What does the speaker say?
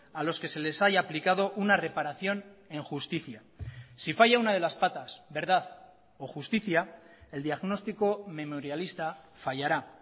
a los que se les haya aplicado una reparación en justicia si falla una de las patas verdad o justicia el diagnóstico memorialista fallará